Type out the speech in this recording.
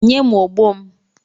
Nye m ogbo m!